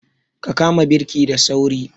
Ka kama birki da sauri!